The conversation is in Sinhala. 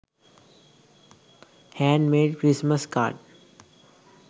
hand made christmas card